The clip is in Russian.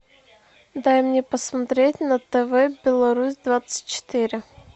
дай мне посмотреть на тв беларусь двадцать четыре